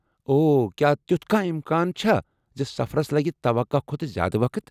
اوہ، کیٛاہ تیُوتھ کانٛہہ امکان چھا زِ سفرس لگہ توقع کھۄتہٕ زیٛادٕ وقت؟